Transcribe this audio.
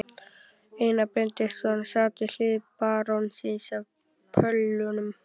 Einar Benediktsson sat við hlið barónsins á pöllunum.